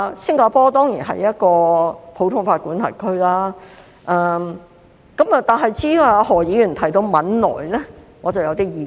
新加坡當然是一個普通法管轄區，但至於何議員提到的汶萊，我則有點意見。